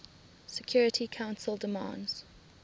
security council demands